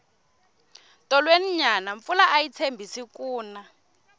tolweni nyana mpfula ayi tshembisi ku na